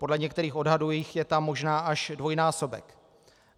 Podle některých odhadů jich je tam možná až dvojnásobek.